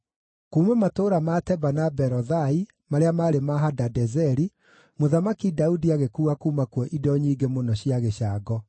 Kuuma matũũra ma Teba na Berothai, marĩa maarĩ ma Hadadezeri, Mũthamaki Daudi agĩkuua kuuma kuo indo nyingĩ mũno cia gĩcango.